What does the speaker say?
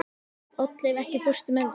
Oddleif, ekki fórstu með þeim?